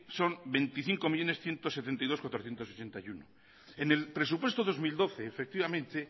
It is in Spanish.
son veinticinco millónes ciento setenta y dos mil cuatrocientos sesenta y uno en el presupuesto dos mil doce efectivamente